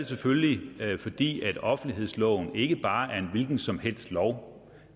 selvfølgelig fordi offentlighedsloven ikke bare er en hvilken som helst lov